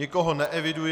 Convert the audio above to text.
Nikoho neeviduji.